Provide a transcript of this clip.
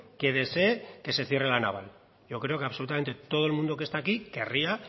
que desee que se cierre la naval yo creo que absolutamente todo el mundo que está aquí querría